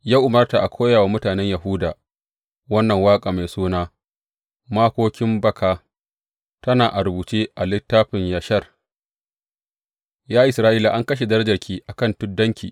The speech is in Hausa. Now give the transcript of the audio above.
Ya umarta a koya wa mutanen Yahuda wannan waƙa mai suna Makokin Baka tana a rubuce a Littafin Yashar, Ya Isra’ila, an kashe darajarki a kan tuddanki.